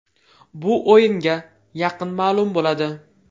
Bu o‘yinga yaqin ma’lum bo‘ladi.